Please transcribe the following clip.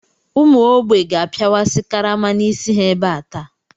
Ụmụ ógbè ga-apịawasị karama n'isi ha ebe taa.